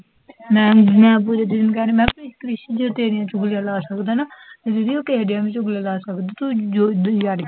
ma'am, ਮੈਂ ਪੂਜਾ ਦੀਦ ਨੂੰ ਕਿਹਾ ਜੇ ਕ੍ਰਿਸ਼ ਜੇ ਤੇਰੀਆਂ ਚੁਗਲੀਆਂ ਲਾ ਸਕਦਾ ਨਾ, ਤਾਂ ਦੀਦੀ ਉਹ ਕਿਸੇ ਦੀ ਵੀ ਚੁਗਲੀਆਂ ਲਾ ਸਕਦਾ ਨਾ ਤੂੰ ਜੋ